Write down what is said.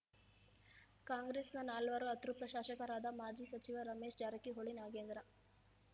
ಕಾಂಗ್ರೆಸ್‌ನ ನಾಲ್ವರು ಅತೃಪ್ತ ಶಾಸಕರಾದ ಮಾಜಿ ಸಚಿವ ರಮೇಶ್ ಜಾರಕಿಹೊಳಿ ನಾಗೇಂದ್ರ